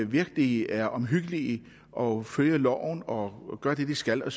virkelig er omhyggelige og følger loven og gør det de skal og